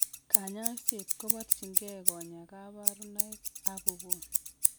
Kanyaiset kobarchin kee konyaa kabarunaik ak ko gon